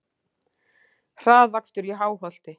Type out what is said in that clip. Hraðakstur í Háholti